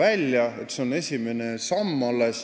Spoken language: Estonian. See on alles esimene samm.